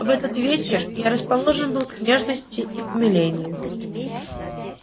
в этот вечер я расположен был к нежности и к умилению